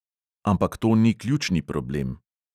Ampak to ni ključni problem.